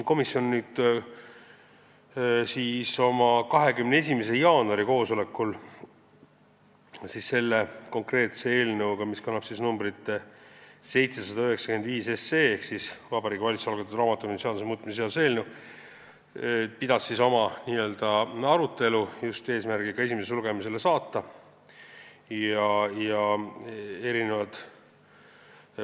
Komisjon pidas oma 21. jaanuari koosolekul selle konkreetse eelnõu 795 ehk Vabariigi Valitsuse algatatud raamatupidamise seaduse muutmise seaduse eelnõu arutelu just eesmärgiga see eelnõu esimesele lugemisele saata.